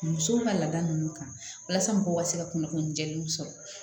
Musow ka laada ninnu kan walasa mɔgɔw ka se ka kunnafoni jɛlenw sɔrɔ